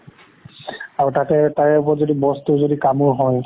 আৰু তাতে তাৰ ওপৰত boss টো যদি কামোৰ হয়